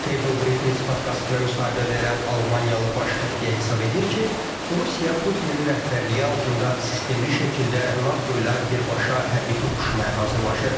Tablebriefings podkastına müsahibə verən Almaniyalı baş xəfiyyə hesab edir ki, Rusiya Putinin rəhbərliyi altında sistemli şəkildə NATO ilə birbaşa hərbi toqquşmaya hazırlaşır.